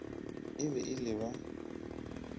e be e le ba